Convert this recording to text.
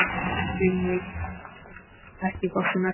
Vígmar, ekki fórstu með þeim?